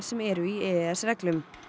sem eru í e e s reglum